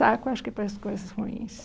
Saco, acho que para as coisas ruins.